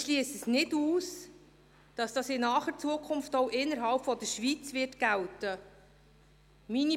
Ich schliesse nicht aus, dass dies in naher Zukunft auch innerhalb der Schweiz gelten wird.